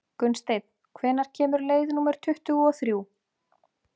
Gunnsteinn, hvenær kemur leið númer tuttugu og þrjú?